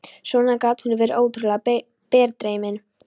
Svona gat hún verið ótrúlega berdreymin.